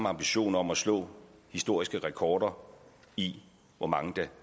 ambition om at slå historiske rekorder i hvor mange der